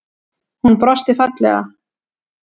Hún brosti fallega.